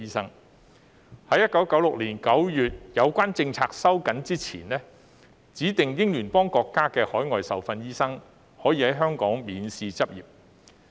在有關政策於1996年9月收緊前，指定英聯邦國家的海外受訓醫生可以在香港免試執業。